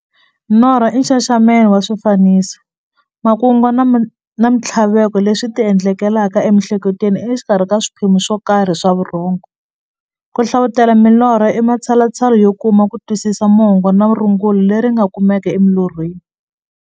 Norho i nxaxamelo wa swifaniso, makungu na minthlaveko leswi ti endlekelaka e mihleketweni exikarhi ka swiphemu swokarhi swa vurhongo. Ku hlavutela milorho i matshalatshala yo kuma kutwisisa mungo na rungula leri nga kumekaka eka milorho.